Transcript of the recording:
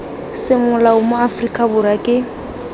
semolao mo aforika borwa ke